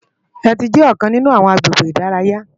Éti jè òkán ninú áwòn àgbégé idàráyá